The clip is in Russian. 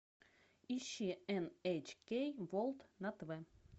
ищи эн эйч кей ворлд на тв